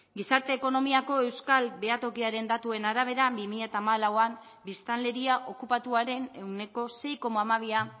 gizarte ekonomiako euskal behatokiaren datuen arabera bi mila hamalauan biztanleria okupatuaren ehuneko sei koma hamabia